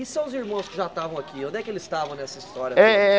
E seus irmãos que já estavam aqui, onde é que eles estavam nessa história toda? Eh